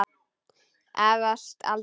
Efast aldrei.